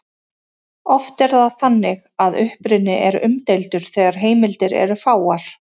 Oft er það þannig að uppruni er umdeildur þegar heimildir eru fáar.